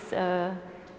er